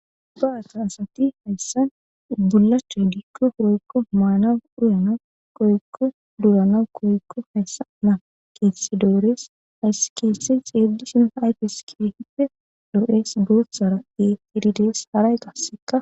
Da7a taasati hayssan bulache diikko hoykko maana uyanau koykko duuranau koykko hayssa ma keesse doorees hayss keese xeedishin hayfes kehippe doo7es dooththara e tididees haray qasseka.